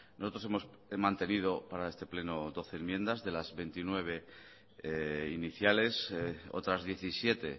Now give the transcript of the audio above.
nosotros hemos he mantenido para este pleno doce enmiendas de las veintinueve iniciales otras diecisiete